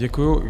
Děkuji.